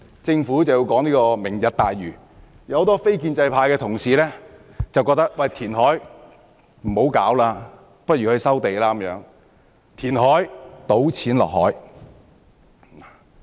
政府提出"明日大嶼"的建議，結果很多非建制派同事認為與其填海，不如收地，因為填海等於"倒錢落海"。